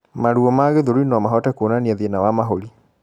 maruo ma gĩthũri nomahote kuonania thina wa mahũri